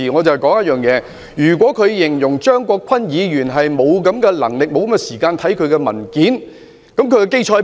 她若指張國鈞議員沒有這種能力、沒有時間閱覽文件，她有何根據？